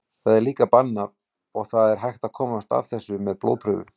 Þetta er líka bannað og það er hægt að komast að þessu með blóðprufu.